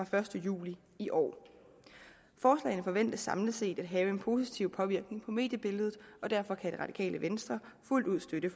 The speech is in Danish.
første juli i år forslaget forventes samlet set at have en positiv påvirkning på mediebilledet og derfor kan det radikale venstre fuldt ud støtte